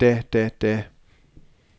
da da da